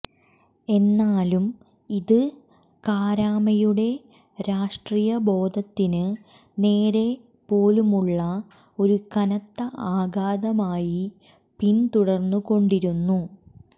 എന്നാലും ഇത് കാരാമയുടെ രാഷ്ര്ടീയബോധത്തിന് നേരെപോലുമുള്ള ഒരു കനത്ത ആഘാതമായി പിൻതുടർന്നുകൊണ്ടിരുന്നു